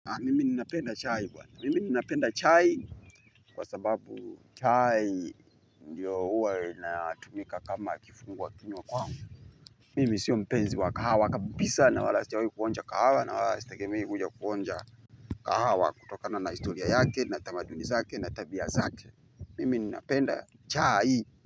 Mimi njnapenda chai buana mimi ninapenda chai. Kwa sababu chai ndio huwa inatumika kama kifunguwa kinywa kwangu. Mimi sio mpenzi wa kahawa kabisa na wala sijawahi kuonja kahawa na wala sitegemei kuja kuonja. Kahawa kutokana na historia yake na tamaduni zake na tabia zake mimi ninapenda chai.